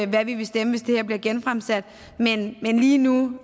hvad vi vil stemme hvis det her bliver genfremsat men lige nu